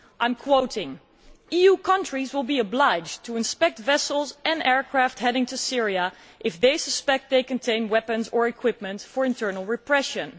I quote EU countries will be obliged to inspect vessels and aircraft heading to Syria if they suspect they contain weapons or equipment for internal repression'.